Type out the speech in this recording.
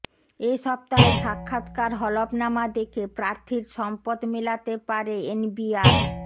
এ সপ্তাহের সাক্ষাৎকার হলফনামা দেখে প্রার্থীর সম্পদ মেলাতে পারে এনবিআর